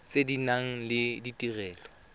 tse di nang le ditirelo